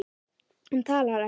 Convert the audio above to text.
Hann talar ekki.